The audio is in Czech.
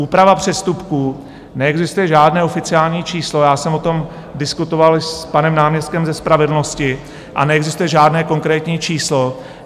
Úprava přestupků: neexistuje žádné oficiální číslo, já jsem o tom diskutoval s panem náměstkem ze spravedlnosti a neexistuje žádné konkrétní číslo.